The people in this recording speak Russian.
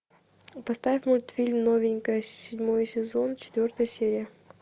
поставь мультфильм новенькая седьмой сезон четвертая серия